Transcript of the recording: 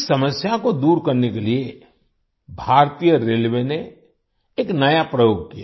इस समस्या को दूर करने के लिए भारतीय रेलवे ने एक नया प्रयोग किया